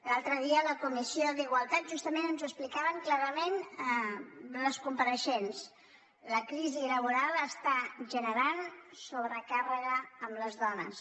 l’altre dia a la comissió d’igualtat justament ens ho ex·plicaven clarament les compareixents la crisi laboral està generant sobrecàrrega a les dones